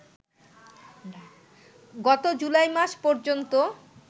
গত জুলাই মাস পর্যন্ত